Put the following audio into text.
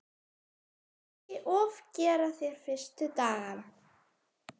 Ekki ofgera þér fyrstu dagana.